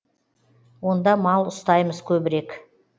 онда мал ұстаймыз көбірек